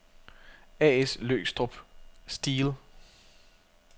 A/S Løgstrup-Steel